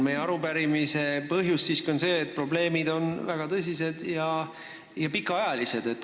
Meie arupärimise põhjus on siiski see, et probleemid on väga tõsised ja pikaajalised.